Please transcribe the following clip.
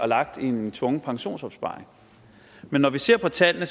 lagt i en tvungen pensionsopsparing men når vi ser på tallene